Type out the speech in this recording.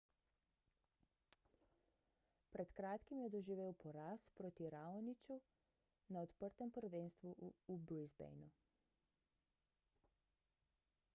pred kratkim je doživel poraz proti raoniću na odprtem prvenstvu v brisbaneu